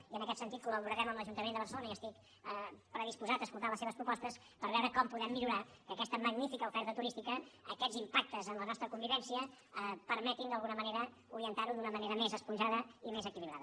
i en aquest sentit col·laborarem amb l’ajuntament de barcelona i estic predisposat a escoltar les seves propostes per veure com podem millorar que aquesta magnifica oferta turística aquests impactes en la nostra convivència permetin d’alguna manera orientar ho d’una manera més esponjada i més equilibrada